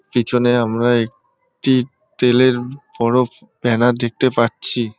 পিছনে আমরা এক-টি তেলের-এ ব-অ-ড় ব্যানার দেখতে পাচ্ছি ।